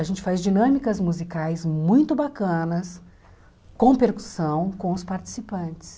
A gente faz dinâmicas musicais muito bacanas, com percussão, com os participantes.